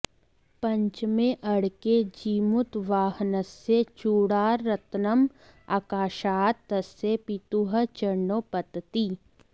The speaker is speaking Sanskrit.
पञ्चमे अङ्के जीमूतवाहनस्य चूडारत्नम् आकाशात् तस्य पितुः चरणौ पतति